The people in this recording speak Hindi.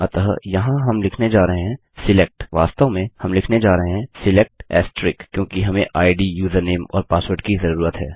अतः यहाँ हम लिखने जा रहे हैं सिलेक्ट वास्तव में हम लिखने जा रहे हैं सिलेक्ट क्योंकि हमें आईडी यूजरनेम और पासवर्ड की जरूरत है